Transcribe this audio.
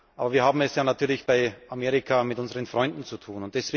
Aber wir haben es ja natürlich bei Amerika mit unseren Freunden zu tun.